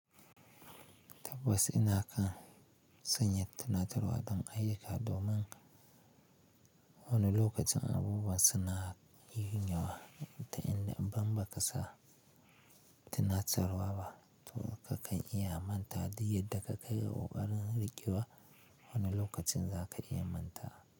Tabbas ina kan sanya tunatarwa don ayyuka domin wani lokacin abubuwan suna yinyawa ta inda idan ba ka sa tunatarwa ba. To kakan iya manta da yadda ka kaga ƙoƙarin ruƙewa, wani lokacin za ka iya manta.